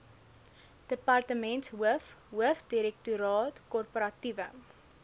departementshoof hoofdirektoraat korporatiewe